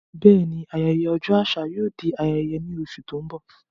Bẹ́ẹ̀ni, ayẹyẹ ọjọ́ àṣà yóò di ayẹyẹ ní oṣù tó ń bọ̀.